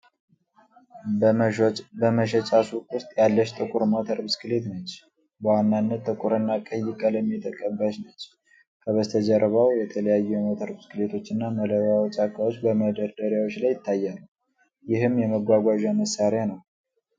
በመሸጫ ሱቅ ውስጥ ያለች ጥቁር ሞተር ብስክሌት ነች። በዋናነት ጥቁርና ቀይ ቀለም የተቀባች ነች። ከበስተጀርባው የተለያዩ የሞተር ብስክሌቶችና መለዋወጫ ዕቃዎች በመደርደሪያዎች ላይ ይታያሉ። ይህም የመጓጓዣ መሣሪያ ነው።